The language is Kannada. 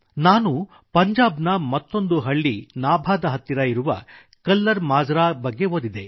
ನಾನು ಪಂಜಾಬ್ನ ಮತ್ತೊಂದು ಹಳ್ಳಿ ನಾಭಾದ ಹತ್ತಿರ ಇರುವ ಕಲ್ಲರ್ ಮಾಜ್ರಾ ಬಗ್ಗೆ ಓದಿದೆ